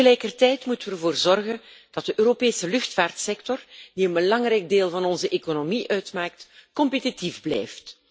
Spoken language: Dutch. Tegelijkertijd moeten we ervoor zorgen dat de Europese luchtvaartsector, die een belangrijk deel van onze economie uitmaakt, competitief blijft.